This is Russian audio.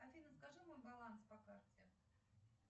афина скажи мой баланс по карте